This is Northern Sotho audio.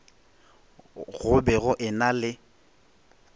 go be go ena le